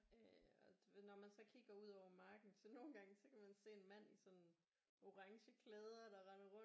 Øh og når man så kigger ud over marken så nogle gange så kan man se en mand i sådan orange klæder der render rundt